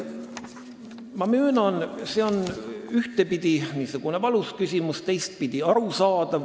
Ma möönan, et ühtpidi on see valus küsimus, teistpidi on see arusaadav.